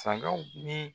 Sagaw ni